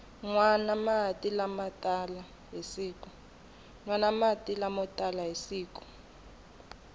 nwana mati lamo tala hi siku